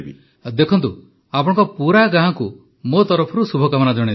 ପ୍ରଧାନମନ୍ତ୍ରୀ ଦେଖନ୍ତୁ ଆପଣଙ୍କ ପୁରା ଗାଁକୁ ମୋ ତରଫରୁ ଶୁଭକାମନା ଜଣାଇଦେବେ